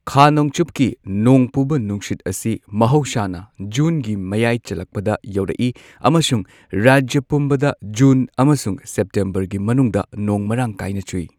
ꯈꯥ ꯅꯣꯡꯆꯨꯞꯀꯤ ꯅꯣꯡ ꯄꯨꯕ ꯅꯨꯡꯁꯤꯠ ꯑꯁꯤ ꯃꯍꯧꯁꯥꯅ ꯖꯨꯟꯒꯤ ꯃꯌꯥꯏ ꯆꯜꯂꯛꯄꯗ ꯌꯧꯔꯛꯏ ꯑꯃꯁꯨꯡ ꯔꯥꯖ꯭ꯌ ꯄꯨꯝꯕꯗ ꯖꯨꯟ ꯑꯃꯁꯨꯡ ꯁꯦꯞꯇꯦꯝꯕꯔꯒꯤ ꯃꯅꯨꯡꯗ ꯅꯣꯡ ꯃꯔꯥꯡ ꯀꯥꯏꯅ ꯆꯨꯏ꯫